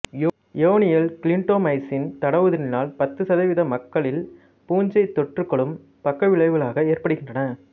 யோனியில் clindamycin தடவுவதனால் பத்து சதவீத மக்களில் பூஞ்சை தொற்றுகளும் பக்கவிளைவுகளாக ஏற்படுகின்றன